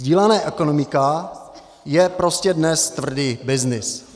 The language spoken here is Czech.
Sdílená ekonomika je prostě dnes tvrdý byznys.